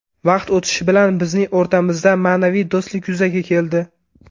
Vaqt o‘tishi bilan bizning o‘rtamizda ma’naviy do‘stlik yuzaga keldi.